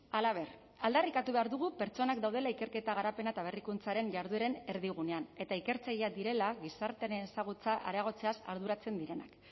halaber aldarrikatu behar dugu pertsonak daudela ikerketa garapena eta berrikuntzaren jardueren erdigunean eta ikertzaileak direla gizartearen ezagutza areagotzeaz arduratzen direnak